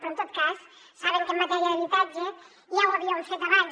però en tot cas saben que en matèria d’habitatge ja ho havíem fet abans